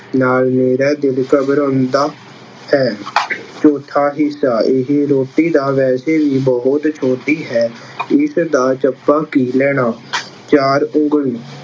ਨਾਲ ਮੇਰਾ ਦਿਲ ਘਬਰਾਉਂਦਾ ਹੈ। ਚੌਥਾ ਹਿੱਸਾ- ਇਹ ਰੋਟੀ ਤਾਂ ਵੈਸੇ ਵੀ ਬਹੁਤ ਛੋਟੀ ਹੈ, ਇਸਦਾ ਚੱਪਾ ਕੀ ਲੈਣਾ। ਚਾਰ ਉਂਗਲੀ-